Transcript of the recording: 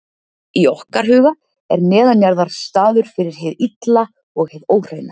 í okkar huga er neðanjarðar staður fyrir hið illa og hið óhreina